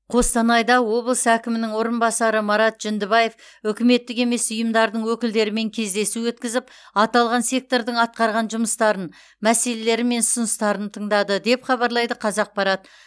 қостанайда облыс әкімінің орынбасары марат жүндібаев үкіметтік емес ұйымдардың өкілдерімен кездесу өткізіп аталған сектордың атқарған жұмыстарын мәселелері мен ұсыныстарын тыңдады деп хабарлайды қазақпарат